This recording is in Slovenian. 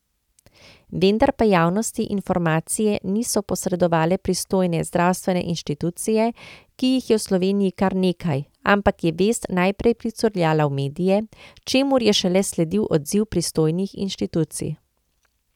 Vendar pa javnosti informacije niso posredovale pristojne zdravstvene institucije, ki jih je v Sloveniji kar nekaj, ampak je vest najprej pricurljala v medije, čemur je šele sledil odziv pristojnih institucij.